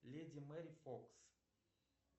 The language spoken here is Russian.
леди мэри фокс